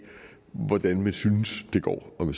hvordan man synes det går om